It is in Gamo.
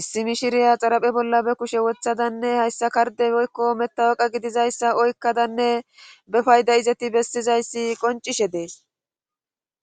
issi mishiriya xaraphe bolla be kushiyan wothadanne hayssa katddde woykko metawoqe gididayssa oykkadnee be fayda izati bessidayssi qonccishe Des.